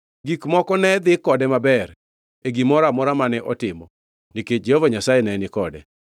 Gik moko ne dhi kode maber e gimoro amora mane otimo nikech Jehova Nyasaye ne ni kode.